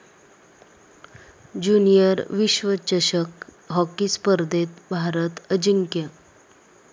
junior विश्वचषक hockey स्पर्धेत भारत अजिंक्य